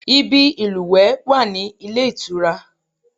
Ibi ìlúwẹ̀ẹ́ wà ní ilé ìtura